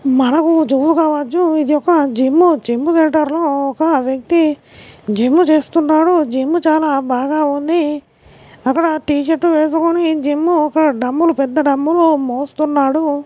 ఇది ఒక జిమ్ మ్మూ జిమ్ సెంటర్ ర్లో ఒక వ్యక్తి జిమ్ చేస్తున్నాడు జిమ్ చాలా బాగా ఉంది. అక్కడ టీ షర్టు వేసుకొని జిమ్ ఒక డ్రాంబుల్ పెద్ద డ్రాంబుల్ మోస్తున్నాడు.